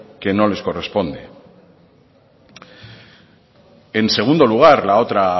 que no les corresponde en segundo lugar la otra